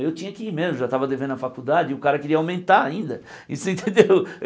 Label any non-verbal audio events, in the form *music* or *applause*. Eu tinha que ir mesmo, já estava devendo a faculdade e o cara queria aumentar ainda, e *laughs* você entendeu?